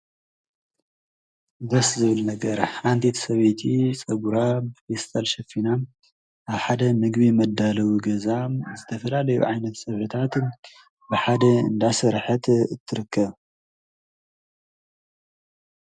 ደስስ ዝብል ነገር ሓንቲት ሰበይቲ ጸጉራ ብፊስታል ሸፊና ኣብ ሓደ ምግቢ መዳለዊ ገዛ ዝተፈላለዩ ዓይነት ፀብሒታት ብሓደ እንዳሠርሐት እትርከብ።